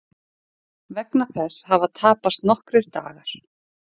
Vegna þess hafa tapast nokkrir dagar